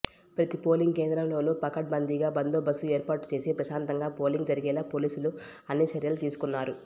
ప్రతి పోలింగ్ కేంద్రంలోనూ పకడ్బందీగా బందోబస్తు ఏర్పాటు చేసి ప్రశాంతంగా పోలింగ్ జరిగేలా పోలీసులు అన్ని చర్యలు తీసుకున్నారు